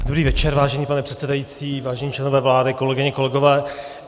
Dobrý večer, vážený pane předsedající, vážení členové vlády, kolegyně, kolegové.